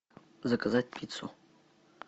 заказать пиццу